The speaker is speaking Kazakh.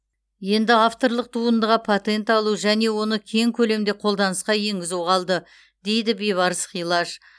енді авторлық туындыға патент алу және оны кең көлемде қолданысқа енгізу қалды дейді бейбарыс хилаж